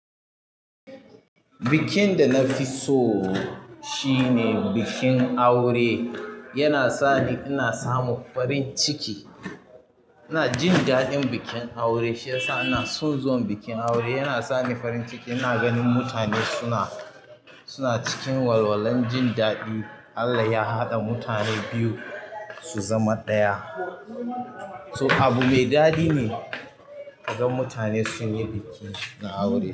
Bikin da na fi so shine bikin aure. Yana sa ni ina samu farin ciki. Ina jin daɗin bikin aure, shi ya sa ina son zuwan bikin aure. Yana sa ni farin ciki ina ganin mutane suna, suna cikin walwalan jin daɗin Allah ya haɗa mutane biyu su zama ɗaya. So abu mai daɗi ne ka gan mutane sun yi bikin aure.